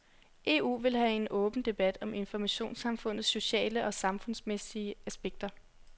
EU vil have en åben debat om informationssamfundets sociale og samfundsmæssige aspekter.